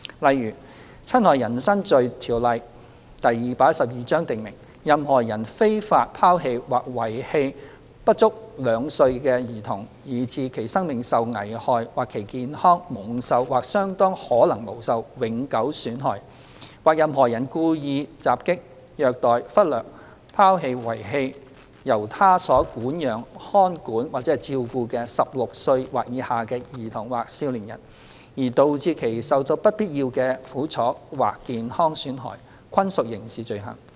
例如，《侵害人身罪條例》訂明，任何人非法拋棄或遺棄不足兩歲的兒童以致其生命受危害或其健康蒙受或相當可能蒙受永久損害；或任何人故意襲擊、虐待、忽略、拋棄或遺棄由他所管養、看管或照顧的16歲或以下的兒童或少年人，而導致其受到不必要的苦楚或健康損害，均屬刑事罪行。